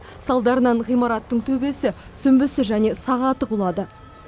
салдарынан ғимараттың төбесі сүмбісі және сағаты құлады